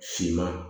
Finma